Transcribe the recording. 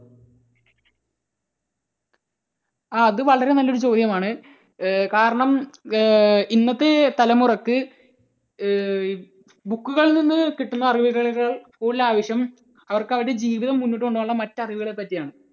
ആ അത് വളരെ നല്ല ഒരു ചോദ്യമാണ്. ഏർ കാരണം ഏർ ഇന്നത്തെ തലമുറയ്ക്ക് ഏർ book കളിൽ നിന്ന് കിട്ടുന്ന അറിവുകളെക്കാൾ കൂടുതൽ ആവശ്യം അവർക്ക് അവരുടെ ജീവിതം മുന്നോട്ടു കൊണ്ടുപോകാനുള്ള മറ്റ് അറിവുകളെ പറ്റിയാണ്.